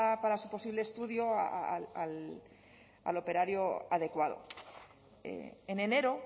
para su posible estudio al operario adecuado en enero